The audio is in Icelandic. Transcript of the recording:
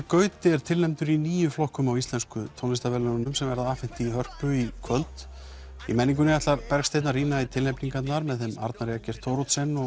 Gauti er tilnefndur í níu flokkum á Íslensku tónlistarverðlaununum sem verða afhent í Hörpu í kvöld í menningunni ætlar Bergsteinn að rýna í tilnefningarnar með þeim Arnari Eggert Thoroddsen og